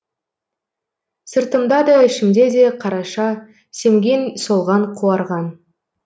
сыртымда да ішімде де қараша семген солған қуарған